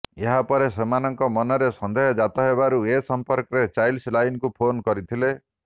ଏହାପରେ ସେମାନଙ୍କ ମନରେ ସନ୍ଦେହଜାତ ହେବାରୁ ଏ ସମ୍ପର୍କରେ ଚାଇଲ୍ଡ ଲାଇନକୁ ଫୋନ କରିଥିଲେ